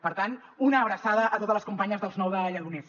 per tant una abraçada a totes les companyes d’ els nou de lledoners